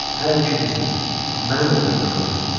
Hər ikimizi, məni də qovmuş olarsınız.